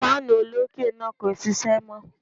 Fáànù olókè náà kò ṣiṣẹ́ mọ́.